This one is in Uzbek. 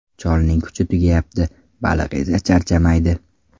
Cholning kuchi tugayapti, baliq esa charchamaydi.